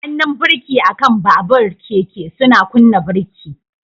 Hannun birki akan babur/keke suna kunna birki.